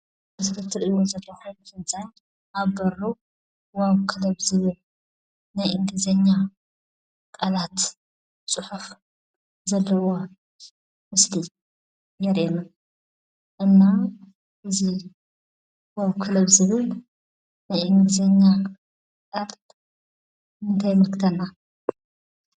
ምስ ርትር እወ ዘብሐ ፍልፃይ ኣብ በሩ ዋብ ከለብ ዝብን ናይ እንዲዜኛ ቃላት ጽሑፍ ዘለዋ ምስሊ የረየምን እና እዝ ዋብ ክለብ ዝብን ናይ እንዲዜኛ ዕርድ እንተይምግተና?